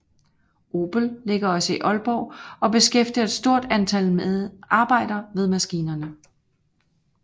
Obel ligger også i Aalborg og beskæftiger et stort antal arbejdere ved maskinerne